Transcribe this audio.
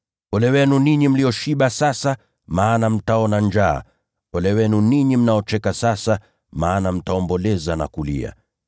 Ole wenu ninyi mlioshiba sasa, maana mtaona njaa. Ole wenu ninyi mnaocheka sasa, maana mtaomboleza na kulia.